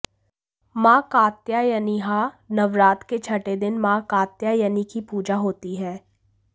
मां कात्यायनीः नवरात्र के छठे दिन मां कात्यायनी की पूजा होती है